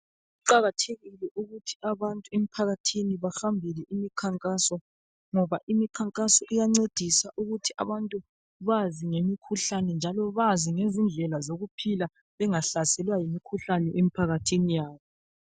Kuqakathekile ukuthi abantu emphakathini bahambele imkhankaso ngoba imkhankaso iyancedisa ukuthi abantu bazi ngemkhuhlane njalo bazi ngezindlela zokuphila bengahlaselwa yimkhuhlane emphakathini yabo.